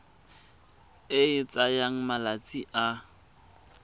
e e tsayang malatsi a